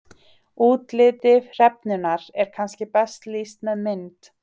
útliti hrefnunnar er kannski best lýst með mynd